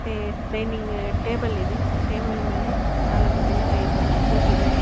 ಇಲ್ಲಿ dining table ಇದೆ table ಮೇಲೆ ನಾಲಕ್ ಜನ ಐದ ಜನ ಕೂತಿದಾರೆ.